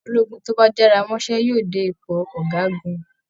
Ọmọ ológun tó bá jára mọ́ṣẹ́ yóò dé ipò ọ̀gágun